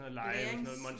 Lærings